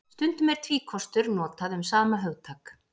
Stundum er tvíkostur notað um sama hugtak.